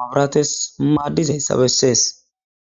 mabrates maaddizayssa bessees.